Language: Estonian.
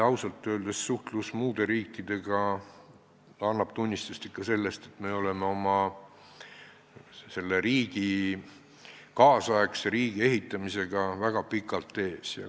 Ausalt öeldes annab suhtlus muude riikidega tunnistust ikka sellest, et me oleme oma riigi, nüüdisaegse riigi ehitamisega väga pikalt teistest ees.